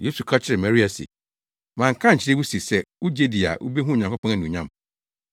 Yesu ka kyerɛɛ Marta se, “Manka ankyerɛ wo se sɛ wugye di a wubehu Onyankopɔn anuonyam?”